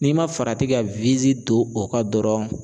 N'i ma farati ka don o kan dɔrɔn